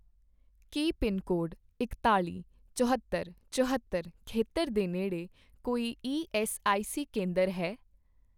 ਕੀ pincode ਇਕਤਾਲ਼ੀ, ਚਹੌਤਰ, ਚਹੌਤਰ ਖੇਤਰ ਦੇ ਨੇੜੇ ਕੋਈ ਈਐੱਸਆਈਸੀ ਕੇਂਦਰ ਹੈ?